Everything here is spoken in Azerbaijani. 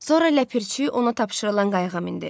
Sonra ləpirçi onu tapşırılan qayığa mindi.